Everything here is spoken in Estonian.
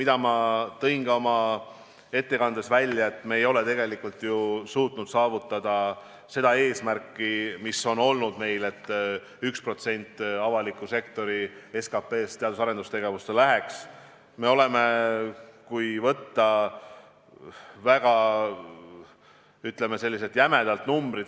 Samas, nagu ma ka oma ettekandes ütlesin, me ei ole tegelikult ju suutnud saavutada oma eesmärki, et 1% avaliku sektori SKT-st läheks teadus- ja arendustegevusele.